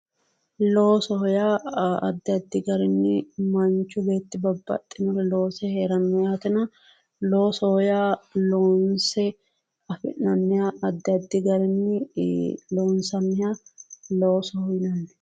Loosoho yaa addi addi garinni manchi beetti babbaxino loose heeranoho, loosoho yaa loonse adhinanniha addi addi garinni loonsanniha loosoho yinneemmo